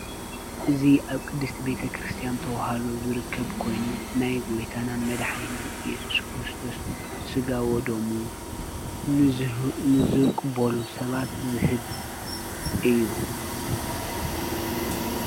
እዚ ኣብ ቅድስቲ ቤተ ክርስቲያን ተዋህዶ ዝርከብ ኮይኑ ናይ ጎይታናን መድሓኒትናን ኢየሱስ ክርስቶስ ስጋ ወደሙ ንዝቅበሉ ሰባት ዝህብ እዩ::